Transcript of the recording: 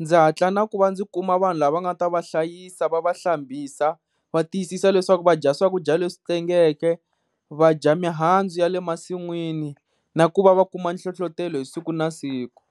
ndzi hatla na ku va ndzi kuma vanhu lava nga ta va hlayisa va va hlambisa, va tiyisisa leswaku va dya swakudya leswi tengeke, va dya mihandzu ya le masin'wini na ku va va kuma nhlohlotelo hi siku na siku.